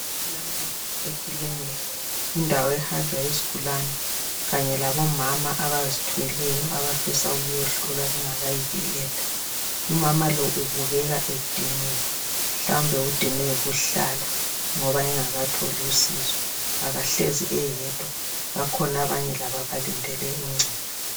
Empilo ekilinika yindawo ehanjwa yizigulane kanye labomama abazithweleyo abafisa ukuyohlolwa bengakayi beletha. Umama lo ubukeka ediniwe, mhlawumbe udinwe yikuhlala ngoba engakatholi usizo. Akahlezi eyedwa bakhona abanye labo abalindele uncedo.